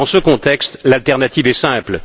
Dans ce contexte, l'alternative est simple.